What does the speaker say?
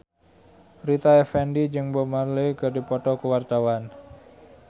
Rita Effendy jeung Bob Marley keur dipoto ku wartawan